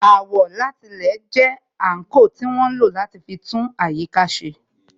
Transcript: Àwọ̀látilẹ̀ jẹ́ àńkò tí wọ́n ń lò láti fi tún àyíká ṣe